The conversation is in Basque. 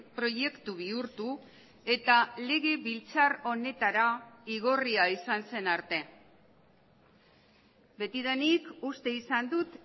proiektu bihurtu eta legebiltzar honetara igorria izan zen arte betidanik uste izan dut